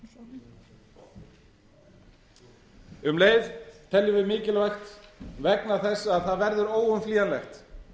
einkageiranum um leið teljum við mikilvægt vegna þess að það verður óumflýjanlegt